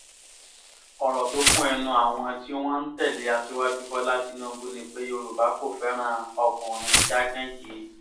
ọ̀rọ̀ tó kún ẹnu àwọn tí wọ́n ń tẹ̀lé aṣíwájú bọ́lá tínúbù ni pé yorùbá kò fẹ́ràn ọkùnrin jágán yìí